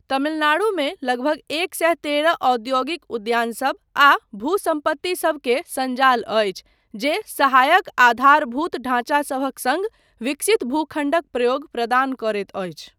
तमिलनाडुमे लगधग एक सए तेरह औद्योगिक उद्यानसब आ भूसम्पत्तिसब के संजाल अछि जे सहायक आधारभूत ढांचासभक सङ्ग विकसित भूखण्डक प्रयोग प्रदान करैत अछि।